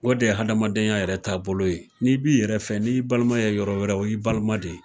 O de ye adamadenya yɛrɛ taa bolo ye ,n'i b'i yɛrɛ fɛ ni ye i baliman ye yɔrɔ wɛrɛ o y'i baliman de ye.